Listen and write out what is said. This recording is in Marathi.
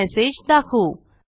हा मेसेज दाखवू